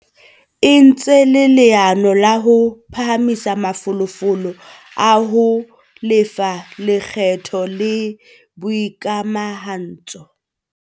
E entse leano la ho phahamisa mafolofolo a ho lefa lekgetho le boikamahantso.